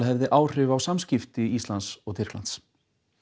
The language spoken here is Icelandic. hefði áhrif á samskipti Íslands og Tyrklands